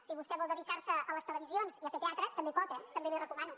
si vostè vol dedicar se a les televisions i a fer teatre també pot eh també li ho recomano